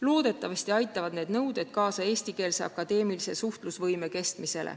Loodetavasti aitavad need nõuded kaasa sellele, et eestikeelse akadeemilise suhtlemise võime püsib.